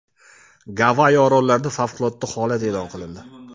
Gavayi orollarida favqulodda holat e’lon qilindi.